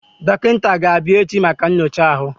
Dọkịta ga-abịa echi maka nyocha ahụ.